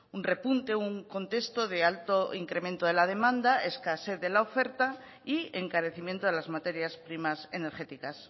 un repunte un contexto de alto incremento de la demanda escasez de la oferta y encarecimiento de las materias primas energéticas